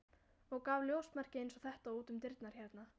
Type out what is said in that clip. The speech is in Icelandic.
og gaf ljósmerki eins og þetta út um dyrnar hérna.